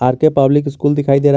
are K public school दिखाई दे रहा--